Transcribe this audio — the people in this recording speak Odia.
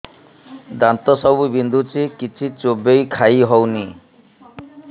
ଦାନ୍ତ ସବୁ ବିନ୍ଧୁଛି କିଛି ଚୋବେଇ ଖାଇ ହଉନି